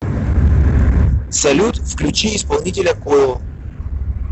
салют включи исполнителя коил